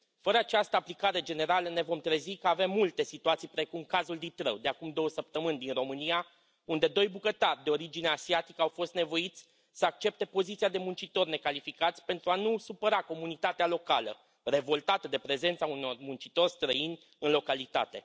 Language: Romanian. Fără această aplicare generală ne vom trezi că avem multe situații, precum cazul Ditrău de acum două săptămâni din România, unde doi bucătari de origine asiatică au fost nevoiți să accepte poziția de muncitori necalificați, pentru a nu supăra comunitatea locală revoltată de prezența unor muncitori străini în localitate.